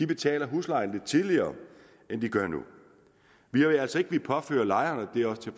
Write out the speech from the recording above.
betaler huslejen lidt tidligere end de gør nu vi vil altså ikke påføre lejerne